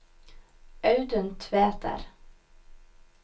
Audun Tveter